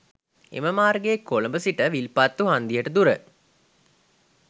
එම මාර්ගයේ කොළඹ සිට විල්පත්තු හන්දියට දුර